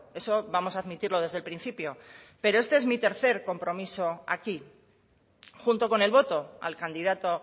eso vamos a admitirlo desde el principio pero este es mi tercer compromiso aquí junto con el voto al candidato